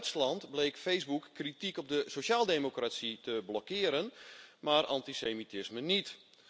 In Duitsland bleek Facebook kritiek op de sociaaldemocratie te blokkeren, maar antisemitisme niet.